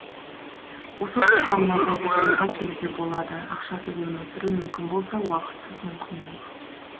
осы тұста мынадай тұжырымға келуге болады ақшасыз өмір сүру мүмкін болса уақытсыз мүмкін емес